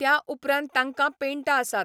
त्या उपरांत तांकां पेंट आसात.